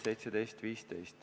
Aitäh!